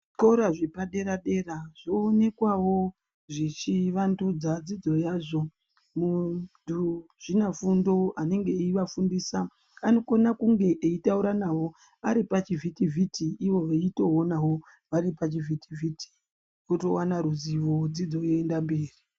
Zvikora zvepadera-dera zvoonekwawo zvichivandudzawo dzidzo yazvo muzvi afundo unovafundisa anokona kunge eitaura navo ari pachivhiti-vhiti ivo veitoonawo vari pachivhiti-vhiti votowana ruzivo dzidzo yotoenda mberi.